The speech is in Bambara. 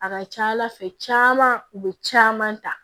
A ka ca ala fɛ caman u bɛ caman ta